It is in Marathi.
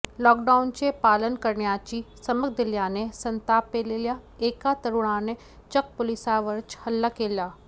लॉकडाउनचे पालन करण्याची समक दिल्याने संतापलेल्या एका तरुणाने चक्क पोलिसावरच हल्ला केला